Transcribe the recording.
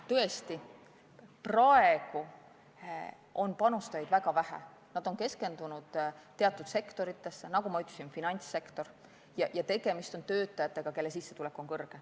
Tõesti, praegu on panustajaid väga vähe, nad on keskendunud teatud sektoritesse, nagu ma ütlesin, on see eelkõige finantssektor, ja tegemist on töötajatega, kelle sissetulek on suur.